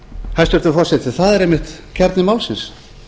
hæstvirtur forseti það er einmitt kjarni málsins